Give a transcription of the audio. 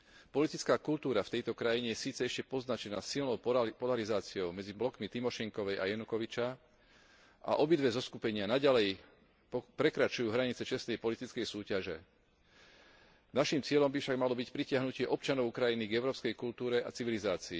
Politická kultúra v tejto krajine je síce ešte poznačená silnou polarizáciou medzi blokmi Tymošenkovej a Janukoviča a obidve zoskupenia naďalej prekračujú hranice čestnej politickej súťaže, naším cieľom by však malo byť pritiahnutie občanov Ukrajiny k európskej kultúre a civilizácii.